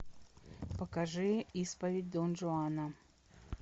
покажи исповедь дон жуана